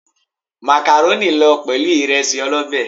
Màkàrónì lọ pẹ̀lú ìresí ọlọ́bé.